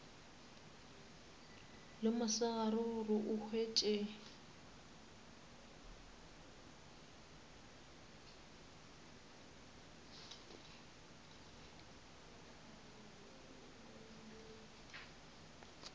le mosegare gore o hwetše